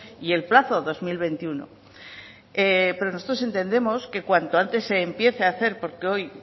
y el plazo dos mil veintiuno nosotros entendemos que cuanto antes se empiece a hacer porque hoy